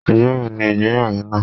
Ijọ́ wo ni ìgbéyàwó náà?